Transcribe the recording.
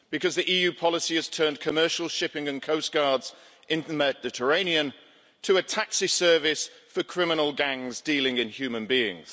The EU policy has turned commercial shipping and coastguards in the Mediterranean into a taxi service for criminal gangs dealing in human beings.